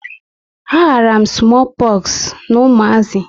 A ghara m smoo poxu na umazi